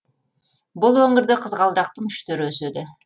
бұл өңірде қызғалдақтың үш түрі өседі